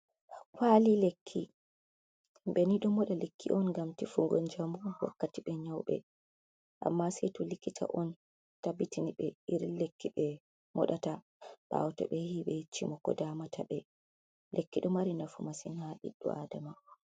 Kwali lekki. Himɓe ni ɗo moɗa lekki on ngam tefugo njamu wakkati ɓe nyawɓe, amma sei to likita on tabbitini be irin lekki ɓe moɗata, ɓawo to ɓe yahii ɓe yeccimo ko damata ɓe. Lekki ɗo mari nafu masin ha biɗɗo adama.